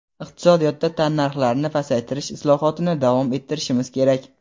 iqtisodiyotda tannarxlarni pasaytirish islohotini davom ettirishimiz kerak.